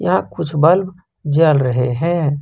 यहां कुछ बल्ब जल रहे हैं।